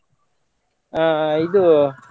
ಆ ಇದು.